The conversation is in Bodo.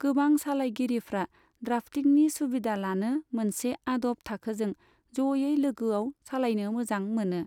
गोबां सालायगिरिफ्रा द्राफ्टिंनि सुबिधा लानो मोनसे आदब थाखोजों जयै लोगोआव सालायनो मोजां मोनो।